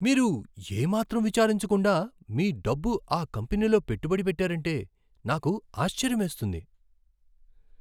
మీరు ఏ మాత్రం విచారించకుండా మీ డబ్బు ఆ కంపెనీలో పెట్టుబడి పెట్టారంటే నాకు ఆశ్చర్యమేస్తుంది.